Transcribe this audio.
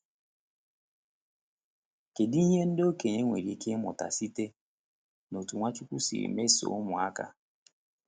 Kedu ihe ndị okenye nwere ike ịmụta site n’otú Nwachukwu siri mesoo ụmụaka?